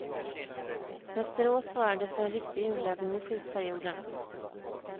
Västerås svarade för en riktig urladdning i slutperioden.